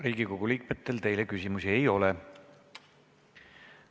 Riigikogu liikmetel teile küsimusi ei ole.